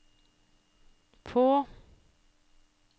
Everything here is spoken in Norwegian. på